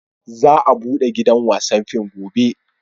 Za a bude gidan wasan fim gobe